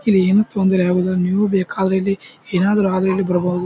ಇಲ್ಲಿ ಏನು ತೊಂದರೆ ಆಗುವುದಿಲ್ಲ ನೀವು ಬೇಕಾದ್ರೆ ಇಲ್ಲಿ ಏನಾದ್ರು ಆದ್ರೆ ಇಲ್ಲಿ ಬರಬಹುದು.